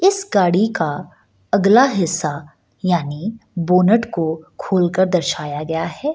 इस गाड़ी का अगला हिस्सा यानी बोनट को खोलकर दर्शाया गया है।